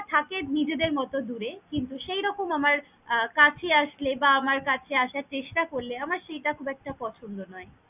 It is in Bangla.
থাকে নিজেদের মতো দূরে, কিন্তু সেই রকম আমার আহ কাছে আসলে বা আমার কাছে আসার চেষ্টা করলে আমার সেটা খুব একটা পছন্দ নয়।